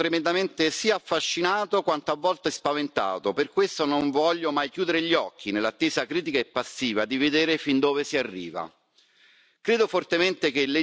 ma nello stesso tempo ne sono tremendamente sia affascinato quanto a volte spaventato, per questo non voglio mai chiudere gli occhi, nell'attesa acritica e passiva di vedere fin dove si arriva.